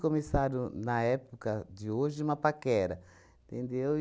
Começaram, na época de hoje, uma paquera, entendeu?